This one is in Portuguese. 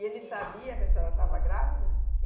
E ele sabia que a senhora estava grávida?